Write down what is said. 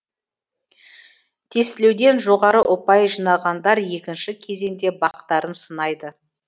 тестілеуден жоғары ұпай жинағандар екінші кезеңде бақтарын сынайды